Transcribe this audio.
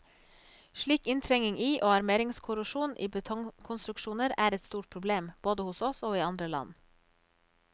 Slik inntrengning i og armeringskorrosjon i betongkonstruksjoner er et stort problem, både hos oss og i andre land.